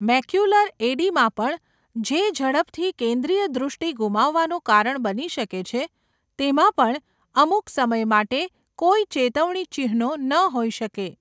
Macular oedema પણ, જે ઝડપથી કેન્દ્રિય દ્રષ્ટિ ગુમાવવાનું કારણ બની શકે છે, તેમાં પણ અમુક સમય માટે કોઈ ચેતવણી ચિહ્નો ન હોઈ શકે.